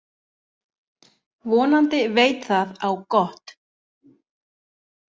Vonandi veit það á gott.